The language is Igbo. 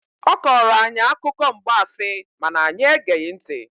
Ọ kọọrọ anyị akụkọ mgbansi ma na anyị egeghị ntị.